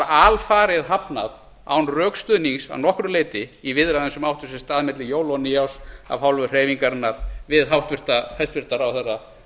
alfarið hafnað án rökstuðnings að nokkru leyti í viðræðum sem áttu sér stað milli jóla og nýárs af hálfu hreyfingarinnar við hæstvirtan ráðherra